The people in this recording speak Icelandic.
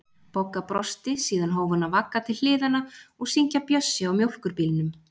Bogga brosti, síðan hóf hún að vagga til hliðanna og syngja Bjössi á mjólkurbílnum